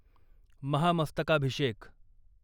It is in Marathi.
महामस्तकाभिषेक